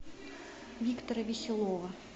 виктора веселова